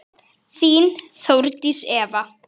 Þín, Þórdís Eva.